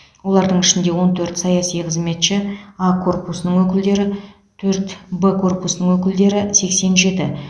олардың ішінде он төрт саяси қызметші а корпусының өкілдері төрт б корпусының өкілдері сексен жеті